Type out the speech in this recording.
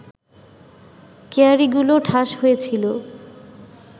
কেয়ারিগুলো ঠাস হয়ে ছিল